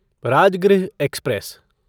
Rajgriha express